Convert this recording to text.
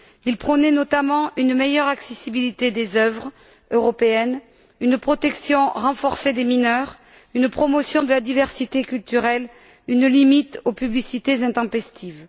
Il prônait notamment une meilleure accessibilité des œuvres européennes, une protection renforcée des mineurs, une promotion de la diversité culturelle et une limite aux publicités intempestives.